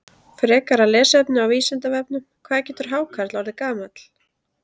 Frekara lesefni á Vísindavefnum: Hvað getur hákarl orðið gamall?